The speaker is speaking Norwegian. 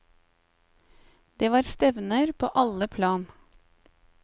Det var stevner på alle plan.